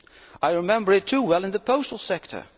I remember it too well in the postal sector.